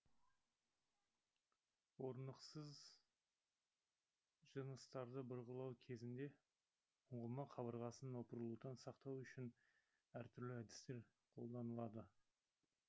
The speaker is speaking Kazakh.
орнықсыз жыныстарды бұрғылау кезінде ұңғыма қабырғасын опырылудан сақтау үшін әртүрлі әдістер қолданылады